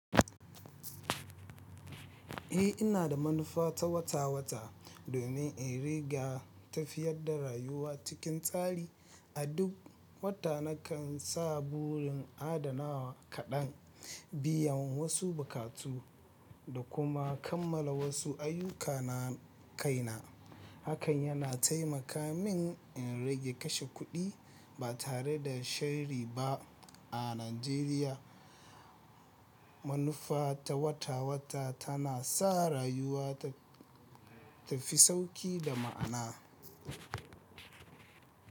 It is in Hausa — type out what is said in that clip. Eh ina da manufa ta wata wata domin in riga tafiyar da rayuwa cikin tsari. A duk wata nakan sa burin adanawa kaɗan, biyan wasu buƙatu da kuma kammala wasu ayyukana kaina. Hakan yana taimaka min in rage kashe kuɗi ba tare da sharri ba. A Najeriya, manufa ta wata wata tana sa rayuwa ta fi sauƙi da ma'ana.